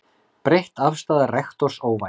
Breytt afstaða rektors óvænt